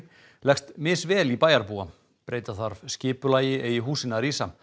leggst misvel í bæjarbúa breyta þarf skipulagi eigi húsin að rísa